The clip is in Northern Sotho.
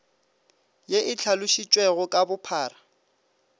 ye e hlalositšwego ka bophara